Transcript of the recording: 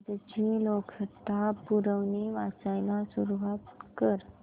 आजची लोकसत्ता पुरवणी वाचायला सुरुवात कर